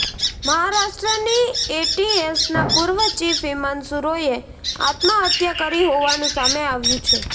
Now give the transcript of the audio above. મહારાષ્ટ્રની એટીએસના પૂર્વ ચીફ હિમાંશુ રોયે આત્મહત્યા કરી હોવાનું સામે આવ્યું છે